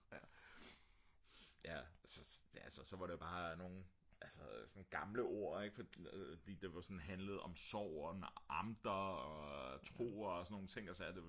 ja så var det bare sådan nogen gamle ord ik der handlede om sorg og amter og tro og sådan nogle ting og sager